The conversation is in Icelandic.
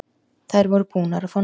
Þær voru búnar að fá nóg.